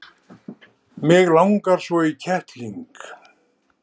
mig langar svo í kettling